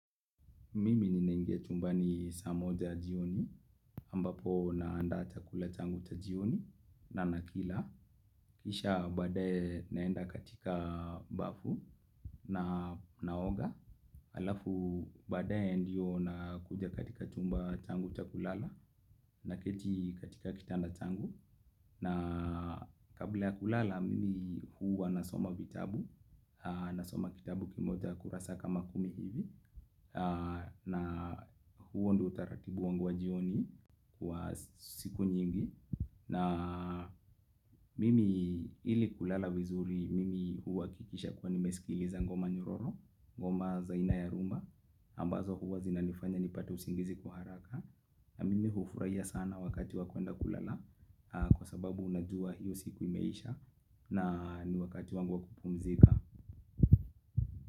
Mimi ninaingia chumbani. Saa moja jioni, ambapo naandaa chakula changu cha jioni na nakila. Kisha baadae naenda katika bafu na naoga. Alafu baadae ndio nakuja katika chumba changu cha kulala naketi katika kitanda changu. Na kabla ya kulala, mimi huwa nasoma vitabu, nasoma kitabu kimoja kurasa kama kumi hivi. Na huo ndo utaratibu wangu wa jioni wa siku nyingi. Na mimi ili kulala vizuri mimi huwakikisha kwa nimesikiliza ngoma nyororo. Ngoma za aina ya rumba ambazo huwa zinanifanya nipate usingizi kwa haraka. Na mimi hufurahia sana wakati wa kwenda kulala. Kwa sababu unajua hiyo siku imeisha. Na ni wakati wangu wa kupumzika.